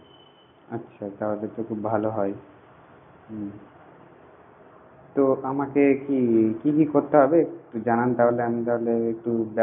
আচ্ছা তাহলে তো খুব ভালো হয় তো আমাকে কি কি কি করতে হবে একটু জানান তাহলে আমি তাহলে একটু